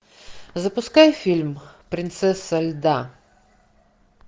запускай фильм принцесса льда